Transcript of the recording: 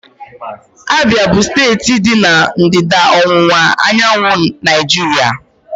Abia bụ steeti dị na ndịda ọwụwa anyanwụ Naijiria.